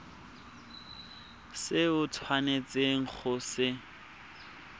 se o tshwanetseng go se